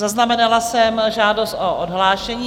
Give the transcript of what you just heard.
Zaznamenala jsem žádost o odhlášení.